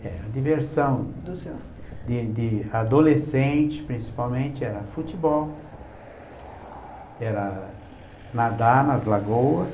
É, a diversão do senhor, de de adolescente, principalmente, era futebol, era nadar nas lagoas.